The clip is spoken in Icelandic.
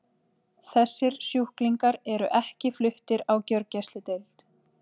Þessir sjúklingar eru ekki fluttir á gjörgæsludeild.